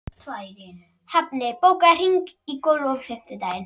Hafni, bókaðu hring í golf á fimmtudaginn.